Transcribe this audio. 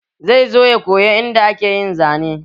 Zai zo ya koyi yanda ake zane.